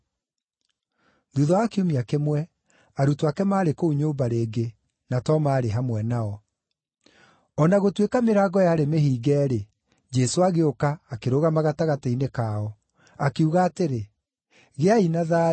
Thuutha wa kiumia kĩmwe, arutwo ake maarĩ kũu nyũmba rĩngĩ, na Toma aarĩ hamwe nao. O na gũtuĩka mĩrango yarĩ mĩhinge-rĩ, Jesũ agĩũka, akĩrũgama gatagatĩ-inĩ kao, akiuga atĩrĩ, “Gĩai na thayũ!”